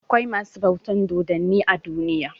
Akwai masu bautan dodanni a duniya.